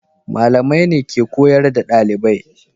Malamai ne ke koyar da dalibai.